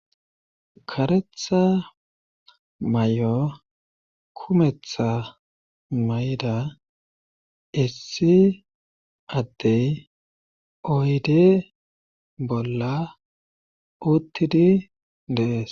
Karetha may'o kumetha mayda issi addey oyde bolla uttidi deees.